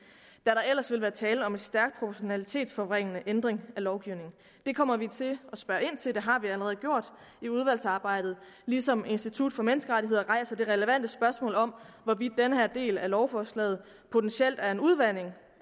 der ellers ville være tale om en stærkt proportionalitetsforvrængende ændring af lovgivningen det kommer vi til at spørge ind til og det har vi allerede gjort i udvalgsarbejdet ligesom institut for menneskerettigheder rejser det relevante spørgsmål om hvorvidt den her del af lovforslaget potentielt er en udvanding